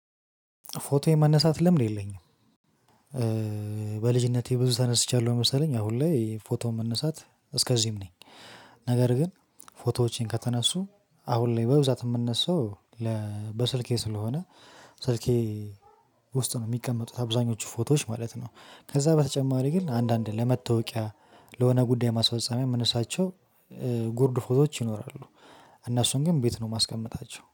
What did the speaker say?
ፎቶ የመነሳት ልምድ የለኝም። በልጅነቴ ብዙ ተነስቻለሁ መሰለኝ አሁን ላይ ፎቶ መነሳት እስከዚህም ነኝ። ነገር ግን ፎቶዎቼን ከተነሱ አሁን ላይ በብዛት የምነሳው ለ በስልኬ ስለሆነ ስልኬ ውስጥ ነው የሚቀመጡት አብዛኞቹ ፎቶዎች ማለት ነው። ከዛ በተጨማሪ ግን አንዳንድ ለመታወቂያ ለሆነ ጉዳይ ማስፈፀሚያ ምነሳቸው ጉርድ ፎቶዎች ይኖራሉ። እነሱን ግን ቤት ነው የማስቀምጣቸው